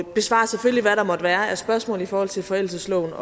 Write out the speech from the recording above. besvarer selvfølgelig hvad der måtte være af spørgsmål i forhold til forældelsesloven